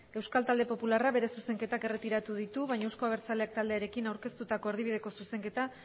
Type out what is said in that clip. euskal talde popularrak bere zuzenketak erretiratu ditu baina euzko abertzaleak taldearekin aurkeztutako erdibideko zuzenketa